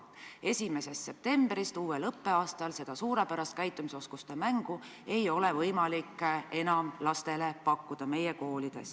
1. septembrist, uuel õppeaastal seda suurepärast käitumisoskuste mängu ei ole meie koolides enam võimalik lastele pakkuda.